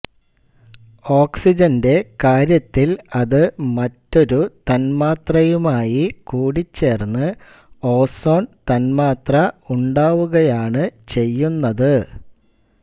ഓക്സിജന്റെ കാര്യത്തിൽ അതു് മറ്റൊരു തന്മാത്രയുമായി കൂടിച്ചേർന്നു് ഓസോൺ തന്മാത്ര ഉണ്ടാവുകയാണു് ചെയ്യുന്നതു്